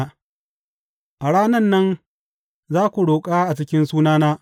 A ranan nan, za ku roƙa a cikin sunana.